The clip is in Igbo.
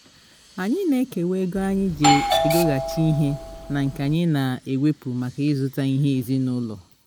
anyị na ekewa ego anyi ji egoghachi ihe na nke anyị na-ewepu maka ịzụta ihe ezinụlọ